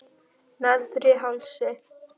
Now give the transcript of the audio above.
Neðri Hálsi